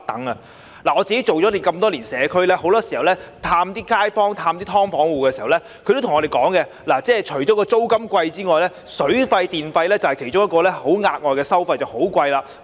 我做了多年社區工作，經常探訪街坊和"劏房戶"，他們都告訴我，除了租金昂貴外，水費和電費等額外收費亦非常高昂。